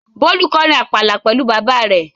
Bólú kọrin àpàlà pẹ̀lú bàbá rẹ̀.